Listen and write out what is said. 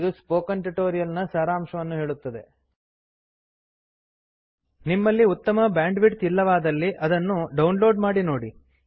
ಇದು spoken tutorial ನ ಸಾರಾಂಶವನ್ನು ಹೇಳುತ್ತದೆ ನಿಮ್ಮಲ್ಲಿ ಉತ್ತಮ ಬ್ಯಾಂಡ್ವಿಡ್ತ್ ಇಲ್ಲವಾದಲ್ಲಿ ಇದನ್ನು ಡೌನ್ ಲೋಡ್ ಮಾಡಿ ನೋಡಿ